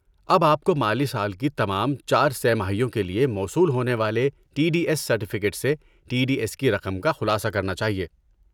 اب آپ کو مالی سال کی تمام چار سہ ماہیوں کے لیے موصول ہونے والے ٹی ڈی ایس سرٹیفکیٹ سے ٹی ڈی ایس کی رقم کا خلاصہ کرنا چاہیے